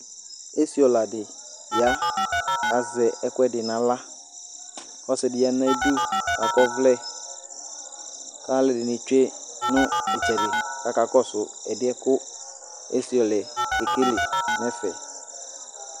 esi ɔla dɩ ya kʊ azɛ ɛkʊɛdɩ n'aɣla, ɔsidɩ ua nʊ ayidu kʊ akɔ ɔvlɛ, kʊ alʊɛdɩnɩ tsue nʊ itsɛdɩ kʊ akakɔsʊ ɛdɩcyɛ bua kʊ esi ɔla yɛ ke kele nʊ ɛfɛ